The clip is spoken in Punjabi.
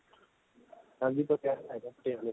ਹਾਂਜੀ ਪਟਿਆਲੇ ਆਏ ਪਏ ਆ ਪਟਿਆਲੇ